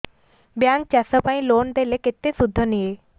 bank ଚାଷ ପାଇଁ loan ଦେଲେ କେତେ ସୁଧ ନିଏ